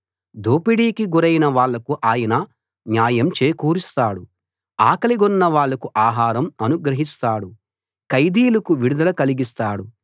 దోపిడీకి గురైన వాళ్లకు ఆయన న్యాయం చేకూరుస్తాడు ఆకలిగొన్న వాళ్లకు ఆహారం అనుగ్రహిస్తాడు ఖైదీలకు విడుదల కలిగిస్తాడు